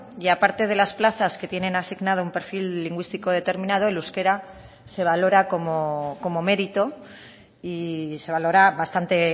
y a parte de las plazas que tienen asignado un perfil lingüístico determinado el euskera se valora como mérito y se valora bastante